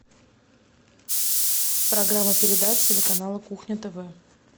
программа передач телеканала кухня тв